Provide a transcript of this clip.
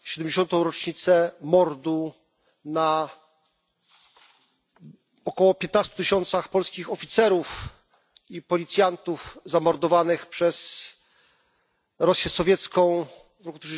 70. rocznicę mordu na około 15 tysiącach polskich oficerów i policjantów zamordowanych przez Rosję sowiecką w roku